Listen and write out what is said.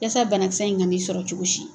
Yasa banakisɛ in ka n'i sɔrɔ cogo si.